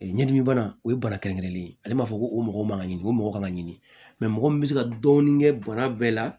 ɲɛdimibana o ye bana kɛrɛnkɛrɛnlen ye ale b'a fɔ ko o mɔgɔ man ka ɲini o mɔgɔ man ka ɲini mɔgɔ min bɛ se ka dɔɔni kɛ bana bɛɛ la